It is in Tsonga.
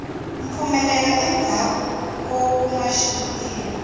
mpfumelo endzhaku ko kuma vutivi